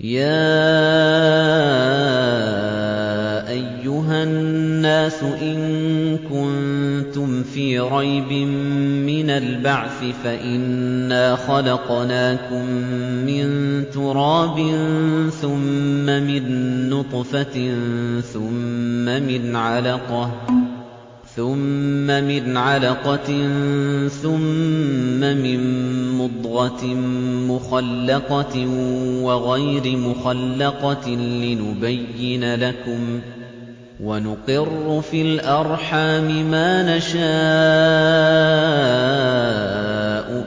يَا أَيُّهَا النَّاسُ إِن كُنتُمْ فِي رَيْبٍ مِّنَ الْبَعْثِ فَإِنَّا خَلَقْنَاكُم مِّن تُرَابٍ ثُمَّ مِن نُّطْفَةٍ ثُمَّ مِنْ عَلَقَةٍ ثُمَّ مِن مُّضْغَةٍ مُّخَلَّقَةٍ وَغَيْرِ مُخَلَّقَةٍ لِّنُبَيِّنَ لَكُمْ ۚ وَنُقِرُّ فِي الْأَرْحَامِ مَا نَشَاءُ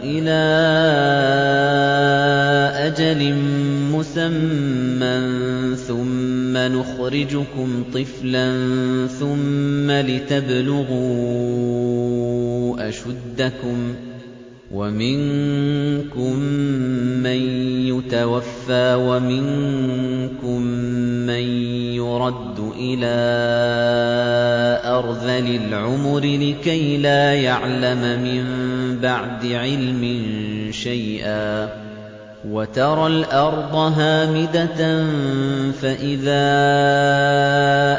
إِلَىٰ أَجَلٍ مُّسَمًّى ثُمَّ نُخْرِجُكُمْ طِفْلًا ثُمَّ لِتَبْلُغُوا أَشُدَّكُمْ ۖ وَمِنكُم مَّن يُتَوَفَّىٰ وَمِنكُم مَّن يُرَدُّ إِلَىٰ أَرْذَلِ الْعُمُرِ لِكَيْلَا يَعْلَمَ مِن بَعْدِ عِلْمٍ شَيْئًا ۚ وَتَرَى الْأَرْضَ هَامِدَةً فَإِذَا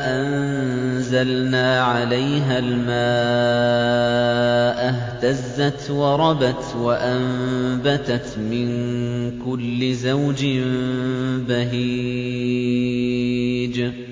أَنزَلْنَا عَلَيْهَا الْمَاءَ اهْتَزَّتْ وَرَبَتْ وَأَنبَتَتْ مِن كُلِّ زَوْجٍ بَهِيجٍ